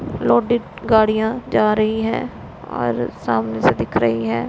Loaded गाड़ियां जा रही हैं और सामने से दिख रही हैं।